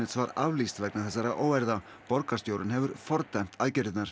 var aflýst vegna þessara óeirða og borgarstjórinn fordæmdi aðgerðirnar